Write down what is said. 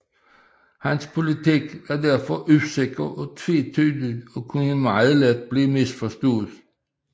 Hans politik var derfor usikker og tvetydig og kunne meget let blive misforstås